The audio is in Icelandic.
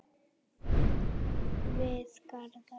Við Garðar